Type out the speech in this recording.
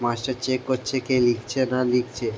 master check করছে কে লিখছে না লিখছে --